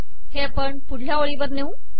हे आपण पुढल्या ओळीवर नेऊ